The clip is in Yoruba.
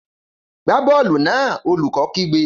Gbá bọ́ọ̀lù náà! Olùkó kígbe